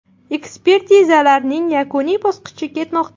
Ekspertizalarning yakuniy bosqichi ketmoqda.